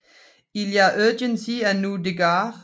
Il y a urgence à nous dégager